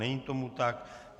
Není tomu tak.